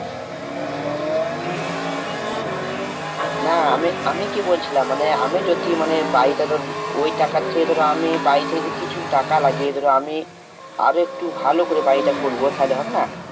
হ্যাঁ গো হ্যাঁ না আমি আমি কি বলছিলাম মানে আমি যদি মানে বাড়িটা ধর ওই টাকার চেয়ে ধর আমি বাড়ি থেকে কিছু টাকা লাগিয়ে ধর আমি আরো একটু ভালো করে বাড়িটা করবো তাহলে হবে না?